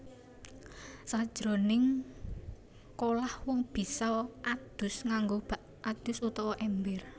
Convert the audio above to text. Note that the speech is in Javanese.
Sajroning kolah wong bisa adus nganggo bak adus utawa èmber